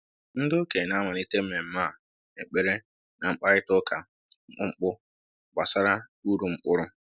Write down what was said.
Ndi okenye na-amalite mmemme a na ekpere na mkparịta ụka mkpụmkpụ gbasara uru mkpụrụ